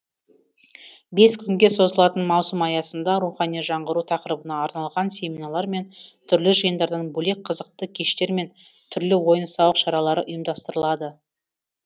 бес күнге созылатын маусым аясында рухани жаңғыру тақырыбына арналған семинарлар мен түрлі жиындардан бөлек қызықты кештер мен түрлі ойын сауық шаралары ұйымдастырылады